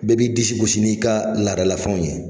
Bɛɛ b'i disi gosi n'i ka ladala fɛnw ye.